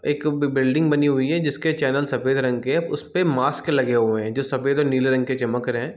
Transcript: एक बिल्डिंग बनी हुई है जिसके चैनल सफ़ेद रंग के है उसपे मास्क लगे हुए है जो सफ़ेद और नीले रंग के चमक रहे है।